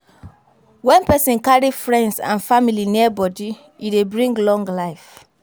When person carry friends and family near body, e dey bring long life